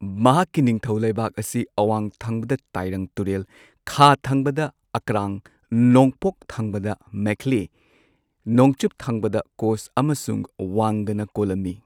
ꯃꯍꯥꯛꯀꯤ ꯅꯤꯡꯊꯧ ꯂꯩꯕꯥꯛ ꯑꯁꯤ ꯑꯋꯥꯡ ꯊꯪꯕꯗ ꯇꯥꯢꯔꯪ ꯇꯨꯔꯦꯜ, ꯈꯥ ꯊꯪꯕꯗ ꯑꯀꯔꯥꯡ, ꯅꯣꯡꯄꯣꯛ ꯊꯪꯕꯗ ꯃꯦꯈꯥꯂꯤ, ꯅꯣꯡꯆꯨꯞ ꯊꯪꯕꯗ ꯀꯣꯆ ꯑꯃꯁꯨꯡ ꯋꯪꯒꯥꯅ ꯀꯣꯜꯂꯝꯃꯤ꯫